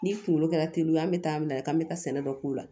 Ni kunkolo kɛra teriw ye an bɛ taa an minɛ k'an bɛ taa sɛnɛ dɔ k'o la